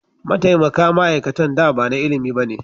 Mataimaka ma'aikatan da ba na ilimi ba ne.